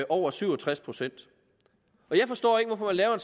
over syv og tres procent jeg forstår ikke hvorfor man laver en